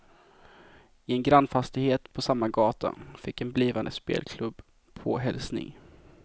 I en grannfastighet på samma gata fick en blivande spelklubb påhälsning.